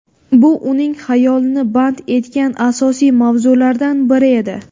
Bu uning xayolini band etgan asosiy mavzulardan biri edi.